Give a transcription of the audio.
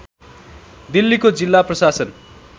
दिल्लीको जिल्ला प्रशासन